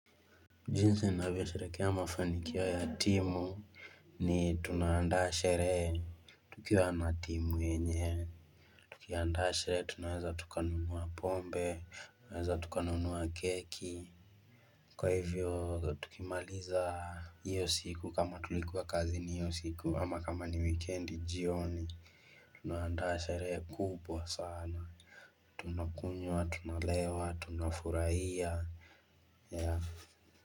Jinsi ninavyosherekea mafanikio ya timu ni tunaandaa sherehe tukiwa na timu yenyewe Tukiandaa sherehe tunaweza tukanunua pombe, tunaweza tukanunua keki. Kwa hivyo tukimaliza hiyo siku kama tulikuwa kazi ni hiyo siku ama kama ni wikendi jioni Tunaandaa sherehe kubwa sana, tunakunywa, tunalewa, tunafurahia.